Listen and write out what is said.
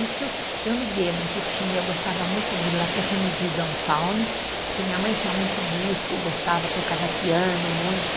Isso, eu me lembro que tinha, eu gostava muito de La Permedie d'un Faune, porque minha mãe tinha muito disco, gostava, tocava piano muito.